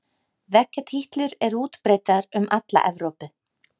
Veggjatítlur er útbreiddar um alla Evrópu.